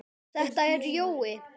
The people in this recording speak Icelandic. Þetta er Jói!